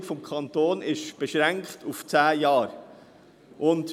Die Finanzierung des Kantons ist auf zehn Jahre beschränkt.